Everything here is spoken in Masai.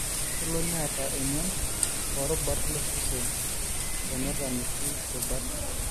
kelo neeta emion oorubat losesen tenetaaniki rubat